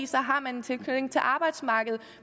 så har man en tilknytning til arbejdsmarkedet